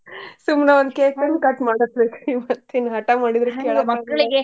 ಸುಮ್ನ ಒಂದ್ cake ತಂದ್ cut ಮಾಡಿಸಬೇಕ್ ಮತ್ ಇನ್ನ ಹಟಾ ಮಾಡಿದ್ರ ಕೆಳಬೇಕಲ್ಲ .